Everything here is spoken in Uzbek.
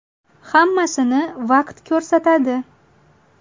Hammasini vaqt ko‘rsatadi.